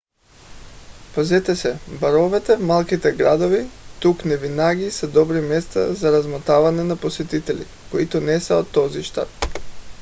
пазете се: баровете в малките градове тук невинаги са добри места за размотаване на посетители които не са от този щат